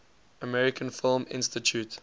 american film institute